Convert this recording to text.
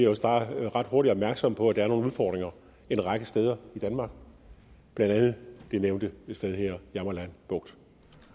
også bare ret hurtigt bliver opmærksom på at der er nogle udfordringer en række steder i danmark blandt andet det nævnte sted jammerland bugt